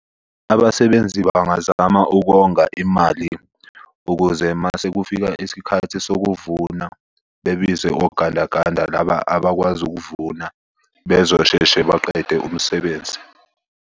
Abasebenzi bangazama ukonga imali ukuze mase kufika isikhathi sokuvuna bebize ogandaganda laba abakwazi ukuvuna bezosheshe baqede umsebenzi.